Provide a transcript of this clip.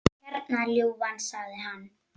Hérna, ljúfan, sagði hann.